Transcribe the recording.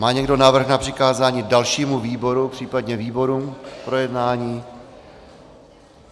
Má někdo návrh na přikázání dalšímu výboru, případně výborům k projednání?